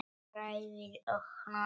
Hrærið og hnoðið.